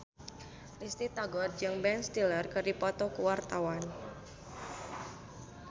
Risty Tagor jeung Ben Stiller keur dipoto ku wartawan